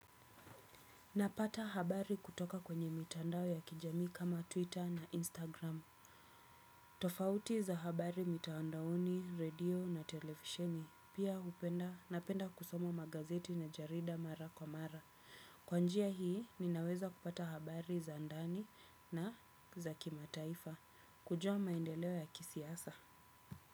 Napata habari kutoka kwenye mitandao ya kijamii kama Twitter na Instagram. Tofauti za habari mitandaoni, radio na televisheni. Pia hupenda napenda kusoma magazeti na jarida mara kwa mara. Kwa njia hii, ninaweza kupata habari za ndani na za kimataifa. Kujua maendeleo ya kisiasa.